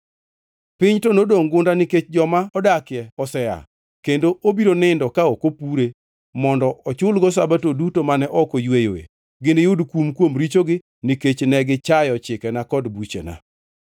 Piny to nodongʼ gunda nikech joma odakie osea, kendo obiro nindo ka ok opure mondo ochulgo Sabato duto mane ok oyweyoe. Giniyud kum kuom richogi nikech ne gichayo chikena kod buchena.